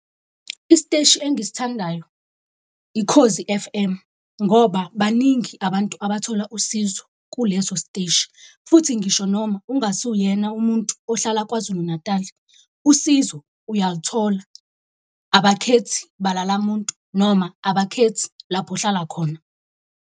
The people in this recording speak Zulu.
Isiteshi engisithandayo iKhozi F_M ngoba baningi abantu abathola usizo kuleso siteshi. Futhi ngisho noma ungasuwuyena umuntu ohlala KwaZulu Natal, usizo uyalithola, abakhethi bala lamuntu noma abakhethi lapho ohlala khona.